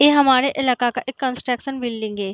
ये हमारे इलाका का एक कंस्ट्रक्शन बिल्डिंग है।